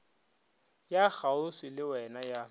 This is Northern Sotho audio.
ya kgauswi le wena ya